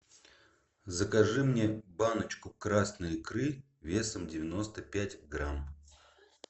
закажи мне баночку красной икры весом девяносто пять грамм